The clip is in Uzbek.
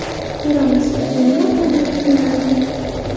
Ko‘ramiz, bu nima bilan yakunlanar ekan.